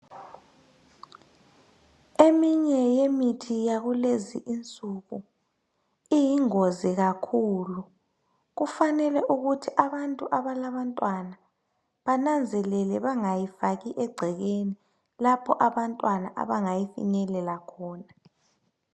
Eminye yemithi yakulezinsuku iyingozi kakhulu kufanele ukuthi abantu abalabantwana bananzelele bengayifaki egcekeni lapho abantwana abangayinyelela khona.